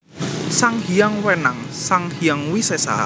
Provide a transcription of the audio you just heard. Sang Hyang Wenang Sang Hyang Wisesa